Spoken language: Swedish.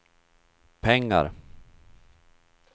pengar